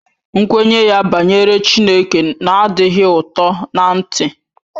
Nkwenye ya banyere Chineke na-adịghị ụtọ ná-ntị